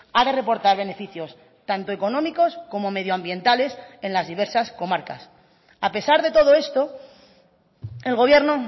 ha de reportar beneficios tanto económicos como medioambientales en las diversas comarcas a pesar de todo esto el gobierno